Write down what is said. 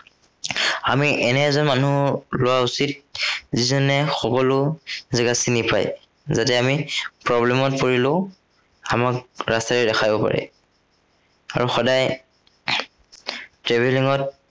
আমি এনে এজন মানুহ লোৱা উচিত, যিজনে সকলো জেগা চিনি পায়। যাতে আমি problem ত পৰিলেও আমাক ৰাস্তা দেখাব পাৰে। আৰু সদায়ে travelling ত